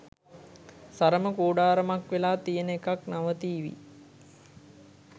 සරම කූඩාරමක් වෙලා තියෙන එකත් නවතීවි